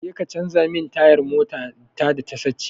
Jeka ka canja min tayar motata da ta sace.